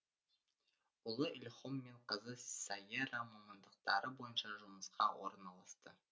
ұлы ильхом мен қызы сайера мамандықтары бойынша жұмысқа орналасты